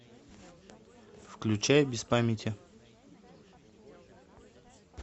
включай без памяти